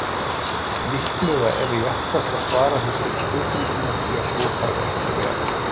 Líklega er réttast að svara þessari spurningu með því að svo þarf ekki að vera.